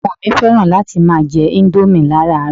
Àwọn Ọmọ mi fẹ́ràn láti máa jẹ indomie laràárọ̀